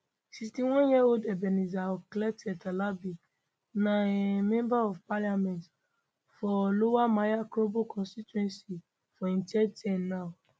61 year old ebenezer okletey terlabi na um member of parliament for lower manya krobo constituency for im third term now